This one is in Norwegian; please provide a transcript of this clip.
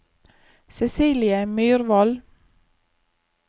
Cecilie Myrvold